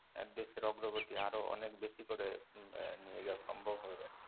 এর দেশের অগ্রগতি আরও অনেক বেশি করে এর নিয়ে যাওয়া সম্ভব হবে আরকি